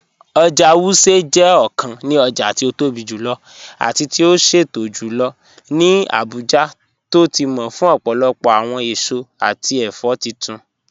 Oja Wuse jẹ ọkàn ní ọja ti o tóbi jùlọ̀ àti ti o ṣẹtọ̀ jùlọ̀ ní Abuja tó ti mọ̀ fún ọpọlọpọ awọn èṣọ̀ àti ẹfọ̀ títún